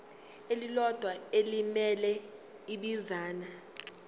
elilodwa elimele ibinzana